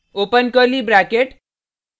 open curly bracket